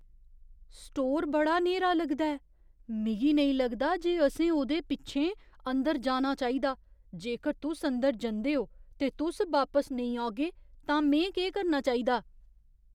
Store बड़ा न्हेरा लगदा ऐ। मिगी नेईं लगदा जे असें ओह्दे पिच्छें अंदर जाना चाहिदा। जेकर तुस अंदर जंदे ओ ते तुस बापस नेईं औगे तां में केह् करना चाहिदा?